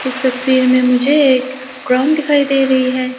इस तस्वीर में मुझे एक ग्राउंड दिखाई दे रही है।